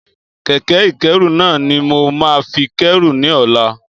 Kẹ̀kẹ́ ìkẹ́rù náà ni mo máa fi kérù ní ọ̀la.